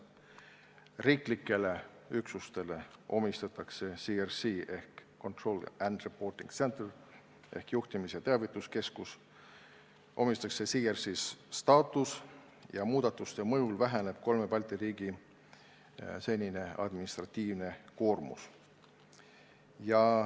Riiklikele üksustele omistatakse CRC ehk control and reporting centre'i ehk juhtimis- ja teavituskeskuse staatus ning muudatuse mõjul väheneb kolme Balti riigi senine administratiivne koormus.